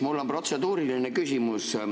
Mul on protseduuriline küsimus.